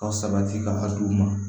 Ka sabati ka d'u ma